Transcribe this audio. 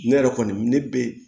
Ne yɛrɛ kɔni ne ne be